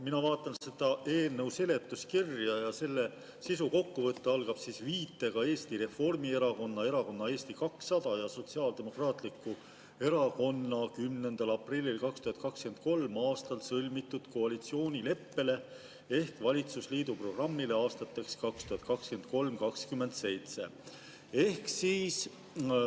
Mina vaatan seda eelnõu seletuskirja ja selle sisukokkuvõte algab viitega Eesti Reformierakonna, Erakonna Eesti 200 ja Sotsiaaldemokraatliku Erakonna 10. aprillil 2023. aastal sõlmitud koalitsioonileppele ehk valitsusliidu programmile aastateks 2023–2027.